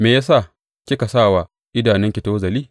Me ya sa kika sa wa idanunki tozali?